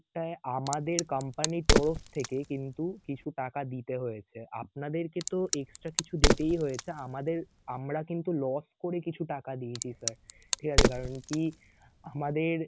টায় আমাদের company র তরফ থেকে কিন্তু কিছু টাকা দিতে হয়েছে আপনাদেরকে তো extra কিছু দিতেই হয়েছে আমাদের আমরা কিন্তু loss করে কিছু টাকা দিয়েছি sir ঠিকাছে কারণ কি আমাদের